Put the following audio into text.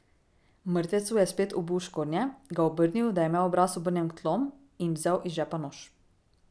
Mrtvecu je spet obul škornje, ga obrnil, da je imel obraz obrnjen k tlom, in vzel iz žepa nož.